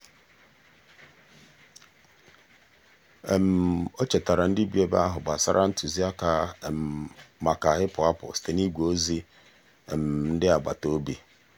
o chetaara ndị bi ebe ahụ gbasara ntụziaka maka ịpụ apụ site n'igwe ozi ndị agbataobi.